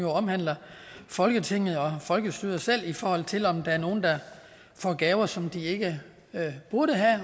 jo omhandler folketinget og folkestyret selv i forhold til om der er nogle der får gaver som de ikke burde